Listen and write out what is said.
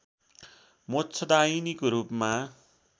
मोक्षदायिनीको रूपमा